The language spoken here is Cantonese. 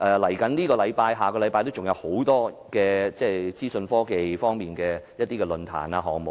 下星期還有多個關乎資訊科技方面的論壇或項目。